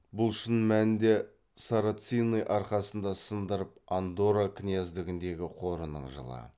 бұл шын мәнінде сарацины арқасында сындырып андорра князьдігіндегі қорының жылы